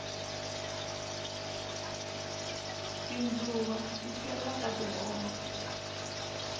tindluwa ti cheriwa ka tihove